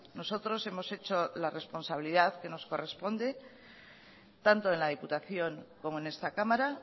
nosotros hemos hecho la responsabilidad que nos corresponde tanto en la diputación como en esta cámara